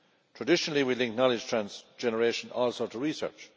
Traditionally we link knowledge generation also to research.